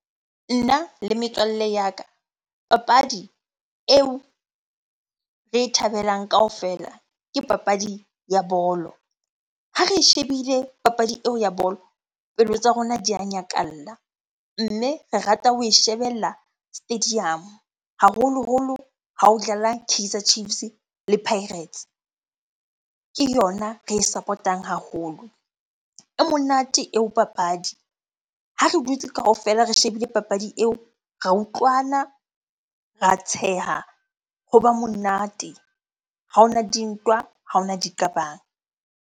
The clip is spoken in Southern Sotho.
Nna le metswalle ya ka, papadi eo re e thabelang kaofela ke papadi ya bolo. Ha re e shebile papadi eo ya bolo, pelo tsa rona di a nyakalla. Mme re rata ho e shebella stadium-o, haholoholo ha ho dlala Kaizer Chiefs le Pirates. Ke yona re e support-ang haholo. E monate eo papadi. Ha re dutse kaofela re shebile papadi eo ra utlwana, ra tsheha, hoba monate. Ha hona dintwa, ha hona diqabang.